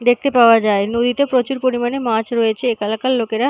দেখতে পাওয়া যায় নদীতে প্রচুর পরিমানে মাছ রয়েছে একা এলাকার লোকেরা--